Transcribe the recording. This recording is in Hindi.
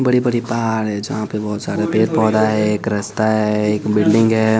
बड़ी-बड़ी पहार है जहाँ पे बहुत सारा पेड़ पौधा है एक रास्ता है एक बिल्डिंग है।